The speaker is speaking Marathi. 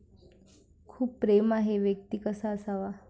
खूप प्रेम आहे व्यक्ती कसा असावा?